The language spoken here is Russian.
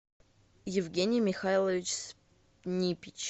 евгений михайлович снипич